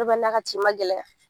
n'a ka tin ma gɛlɛya.